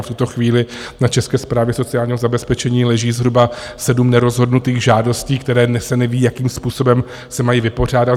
A v tuto chvíli na České správě sociálního zabezpečení leží zhruba sedm nerozhodnutých žádostí, které - dnes se neví, jakým způsobem se mají vypořádat.